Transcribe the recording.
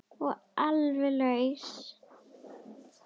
Og alveg laus.